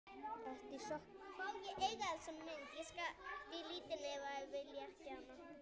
Ertu í sokkum?